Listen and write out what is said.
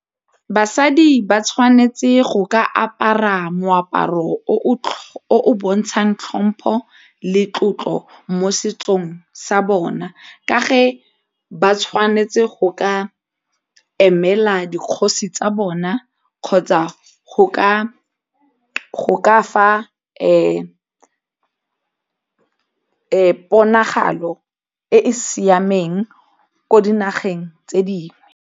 Basadi ba tshwanetse go ka apara moaparo o o bontshang tlhompho le tlotlo mo setsong sa bona ka ba tshwanetse go ka emela dikgosi tsa bona kgotsa go ka fa ponagalo e e siameng ko dinageng tse dingwe.